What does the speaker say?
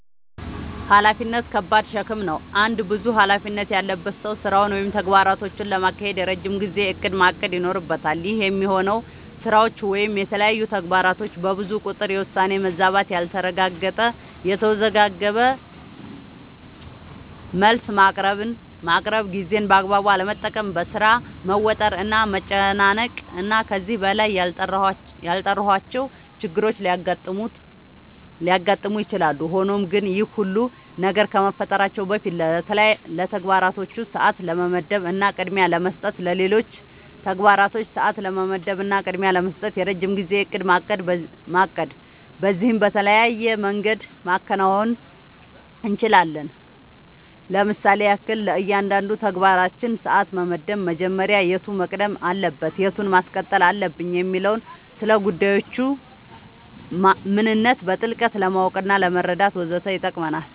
ኃላፊነት ከባድ ሸክም ነው። አንድ ብዙ ኃላፊነት ያለበት ሰው ስራውን ወይም ተግባራቶቹን ለማካሄድ የረጅም ጊዜ እቅድ ማቀድ ይኖርበታል። ይህ የሚሆነው ስራዎች ወይም የተለያዩ ተግባራቶች በብዙ ቁጥር የውሳኔ መዛባት ያልተረጋገጠ፣ የተወዘጋገበ መልስ ማቅረብ፣ ጊዜን በአግባቡ አለመጠቀም፣ በሥራ መወጠር እና መጨናነቅ እና ከዚህ በላይ ያልጠራሁዋቸው ችግሮች ሊያጋጥሙ ይችላሉ። ሆኖም ግን ይህ ሁሉ ነገር ከመፈጠራቸው በፊት ለተግባራቶች ሰዓት ለመመደብ እና ቅድሚያ ለመስጠት ለሌሎች ተግባራቶች ሰዓት ለመመደብ እና ቅድሚያ ለመስጠት የረጅም ጊዜ እቅድ ማቀድ በዚህም በተለያየ መንገድ ማከናወን አንችላለኝ ለምሳሌም ያክል፦ ለእያንዳንዱ ተግባራችን ሰዓት መመደብ መጀመሪያ የቱ መቅደም አለበት የቱን ማስቀጠል አለብኝ የሚለውን፣ ስለጉዳዮቹ ምንነት በጥልቀት ለማወቅናለመረዳት ወዘተ ይጠቅመናል።